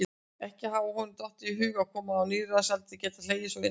Ekki hafði honum dottið í hug að kona á níræðisaldri gæti hlegið svo innilega.